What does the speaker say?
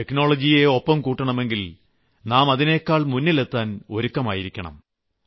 ടെക്നോളജിയെ ഒപ്പം കൂട്ടണമെങ്കിൽ നാം അതിനേക്കാൾ മുന്നിലെത്താൻ ഒരുക്കമായിരിക്കണം